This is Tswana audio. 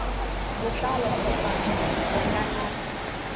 botlalo kgotsa ba ka nna